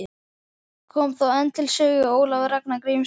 Kom þá enn til sögu Ólafur Ragnar Grímsson.